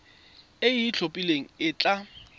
e e itlhophileng e tla